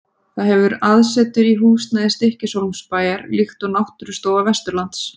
Það hefur aðsetur í húsnæði Stykkishólmsbæjar, líkt og Náttúrustofa Vesturlands.